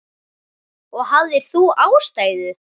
Og hafðir þú ástæðu?